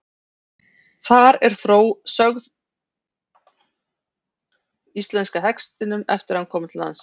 Þar er sögð þróunarsaga íslenska hestinum eftir að hann kom til landsins.